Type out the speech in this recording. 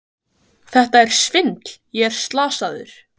Þetta er svindl, ég er slasaður!